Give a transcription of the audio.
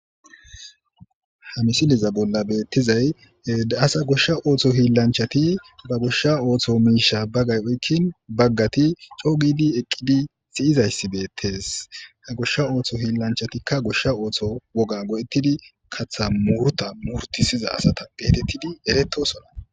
Ha misileza bolan betizay asa gosha hilanchati ba gosha ootho miisha bagayi oyikin , bagati co gidi eqidi beyizysi beetesi, ootho hilancahtika gosha ootho woga go'etidi muruta murutisiza asata getetidi eretososna.